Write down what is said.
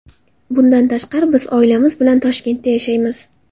Bundan tashqari, biz oilamiz bilan Toshkentda yashaymiz.